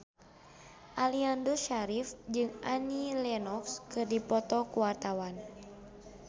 Aliando Syarif jeung Annie Lenox keur dipoto ku wartawan